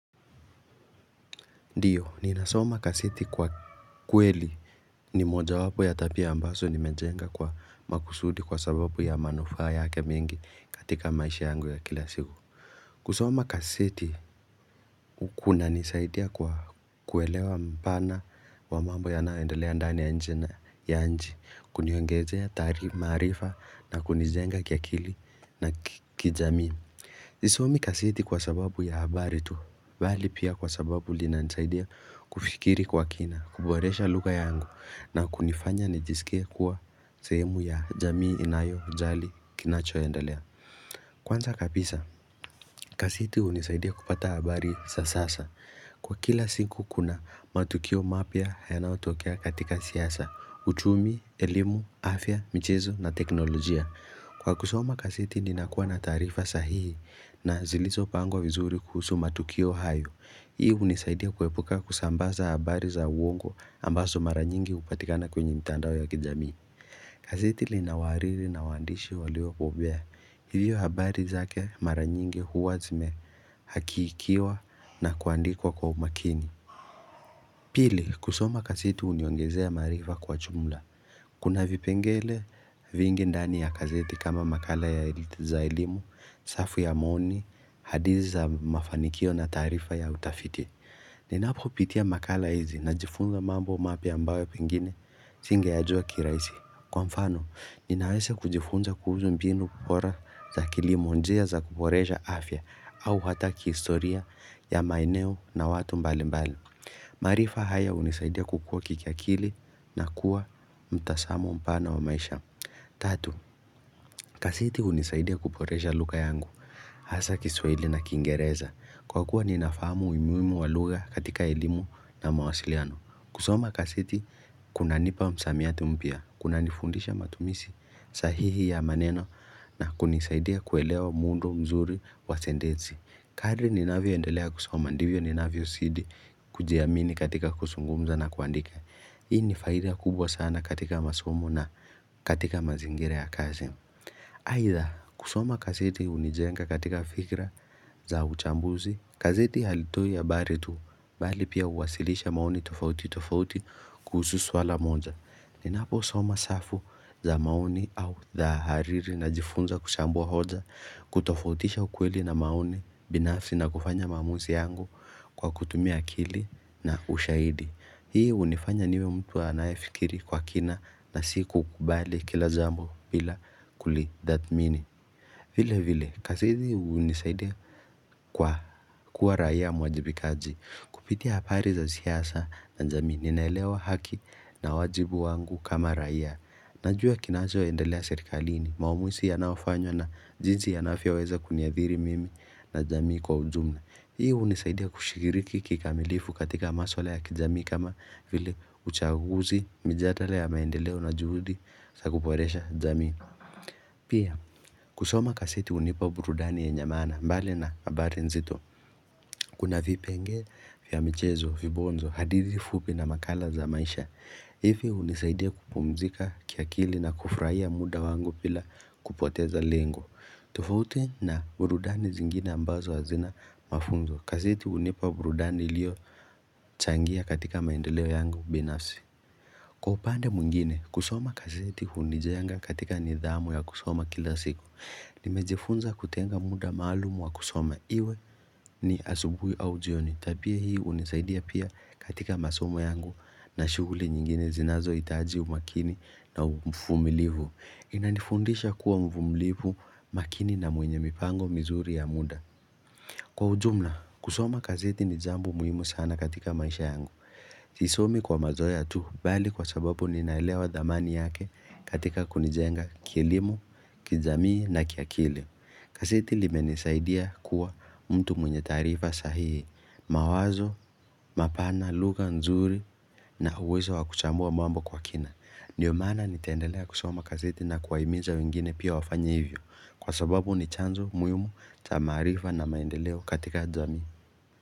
Ndio, ninasoma gazeti kwa kweli ni moja wapo ya tabia ambazo nimejenga kwa makusudi kwa sababu ya manufaa yake mingi katika maisha yangu ya kila siku kusoma gazeti Kuna nisaidia kwa kuelewa mpana wa mambo yanaondelea ndani ya nje ya nchi, kuniongezea marifaa na kunijenga kia akili na kijamii kuna nisaidia kwa kuelewa mpana wa mambo ya naendelea ndani ya nje, kuniyongezea tari marifa na kunijenga kia kili na kijamin. Kwanza kabisa gazeti hunisaidia kupata habari za sasa kwa kila siku kuna matukio mapya yanayotokea katika siasa, uchumi, elimu, afya na teknolojia kwa kusoma gazeti ninakua na tarifa sahihi na zilizopangwa vizuri kuhusu matukio hayo Hii hunisaidia kuepuka kusambaza habari za uongo ambazo mara nyingi hupatikana katika mitandao ya kijamii gazeti linawariri na wandishi walio bobea. Hivyo habari zake mara nyingi huwa zimehakiikiwa na kuandikwa kwa umakini. Pili, kusoma gezeti huniongezea marifa kwa jumla Kuna vipengele vingi ndani ya gazeti kama makala ya ilitiza ilimu, safu ya mooni, hadithi za mafanikio na tarifa ya utafiti. Ninapopitia makala hizi najifunza mambo mapya ambayo pengine, singe yajua kirahisi. Kwa mfano, ninaweza kujifunza kuhusu mbinu bora za kilimo njia za kuboresha afya au hata kihistoria ya maeneo na watu mbali mbali. Marifaa haya hunisaidia kukua kikiakili na kuwa mtazamo mpana wa maisha Tatu, gazeti hunisaidia kuboresha lugha yangu Hasa kiswahili na kingereza kwa kuwa ninafamu umuhimu wa lugha katika elimu na mawasiliano kusoma gazeti, kuna nipa msamiati mpya kuna nifundisha matumizi sahihi ya maneno na kunisaidia kuelewa mundu mzuri wa sentensi kadri ninavyo endelea kusoma ndivyo ni navyo zidii kujiamini katika kuzungumza na kuandika Hii ni faida kubwa sana katika masomk na katika mazingira ya kazi Aida kusoma gazeti hunijenga katika fikra za uchambuzi gazeti halitoi habari tu Bali pia uwasilisha maoni tofauti tofauti kuhusu swala moja ninapo soma safu za maoni au dhahariri najifunza kushambua hoja kutofautisha ukweli na maoni binafsi na kufanya maamuzi yangu Kwa kutumia akili na ushaidi Hii hunifanya niwe mtu anayafikiri kwa kina na sikukubali kila jambo bila kulidhatmini vile vile gazeti hunisaidea kwa kuwa raia muajibikaji kupitia habari za siyasa na jamii ninaelewa haki na wajibu wangu kama raia Najua kinacho endalea serikalini maumuzi yanayofanywa na jinsi yanavyo weza kuniadhiri mimi na jamii kwa ujumla. Hii hunisaidia kushiriki kikamilifu katika maswala ya kijamii kama vile uchaguzi, mjadala ya maendeleo na juhudi, zaku boresha jamii. Pia, kusoma kagazetu hunipa burudani yenye maana, mbali na habari nzito, kuna vipengele vya mchezo, vibonzo, hadithi fupi na makala za maisha. Hii hunisaidia kupumzika kiakili na kufurahia muda wangu bila kupoteza lengo. Tofauti na burudani zingine ambazo hazina mafunzo. Gazeti hunipa burudani iliyo changia katika maendeleo yangu binafsi. Kwa upande muingine, kusoma gazeti hunijenga katika nidhamu ya kusoma kila siku. Nimejifunza kutenga muda maalumu wa kusoma iwe ni asubuhi au jioni. Tabia hii hunisaidia pia katika masomo yangu na shughuli nyingine zinazo hitaji umakini na uvumilivu. Inanifundisha kuwa mvumilivu makini na mwenye mipango mizuri ya muda. Kwa ujumla, kusoma gazeti ni jambo muhimu sana katika maisha yangu. Sisomi kwa mazoea tu, bali kwa sababu ninaelewa dhamani yake katika kunijenga kielimu, kijamii na kiakili. Gazeti limenisaidia kuwa mtu mwenye tarifa sahii, mawazo, mapana, lugha nzuri na uwezo wa kuchambua mambo kwa kina. Ndio maana nitaendelea kusoma gazeti na kuwa himiza wengine pia wafanye hivyo kwa sababu ni chanzo muhimu ya maarifa na maendeleo katika jamii.